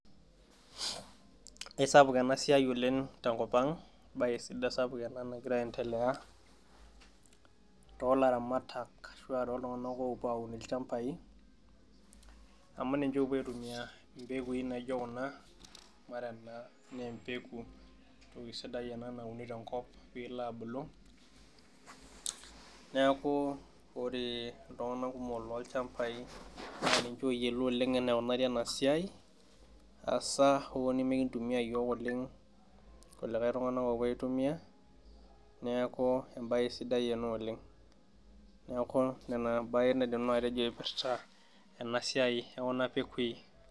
Ekisapuk ena siai oleng tenkop ang' ebae sapuk ena nagira aendelea, toolaramataka ashu aa tooltunganak oopuo aun ilchampai, amu ninche oopuo aitumia mpekui naijo kuna, ore ena naa empeku, entoki sidai ena neuni te nkop, neeku ore iltunganak kumok toolchampai, naa ninche oyiolo oleng eneikunari ena siai, eisai asa hoo nemekintumia iyiook oleng kulikae tunganak oitumia neeku ebae sidai ena oleng. neeku Nena ebae naidim nanu atejo ipirta Nena siai ekuna pekui